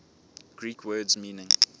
greek words meaning